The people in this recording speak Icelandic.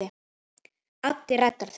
Addi reddaði því.